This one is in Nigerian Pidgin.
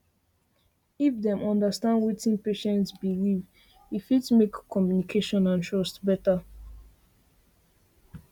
if dem understand wetin patient believe patient believe e fit make communication and trust better